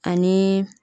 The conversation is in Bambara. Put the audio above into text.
Ani